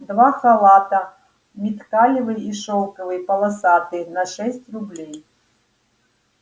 два халата миткалёвый и шелковый полосатый на шесть рублей